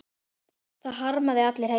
Það harma þig allir heima.